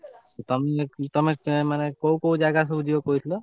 ତମେ ତମେ ମାନେ କଉ କଉ ଜାଗା ସବୁ ଯିବ ବୁଲିତେ?